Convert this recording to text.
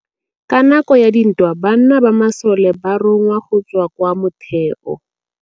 Ka nakô ya dintwa banna ba masole ba rongwa go tswa kwa mothêô.